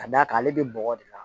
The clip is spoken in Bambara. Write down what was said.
Ka d'a ale bɛ bɔgɔ de la